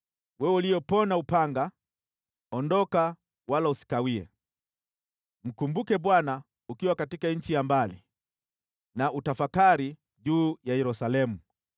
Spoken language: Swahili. Wewe uliyepona upanga, ondoka wala usikawie! Mkumbuke Bwana ukiwa katika nchi ya mbali, na utafakari juu ya Yerusalemu.”